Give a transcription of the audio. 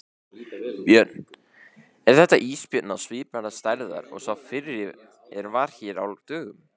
Björn: Er þetta ísbjörn á svipaðrar stærðar og sá fyrri er var hér á dögunum?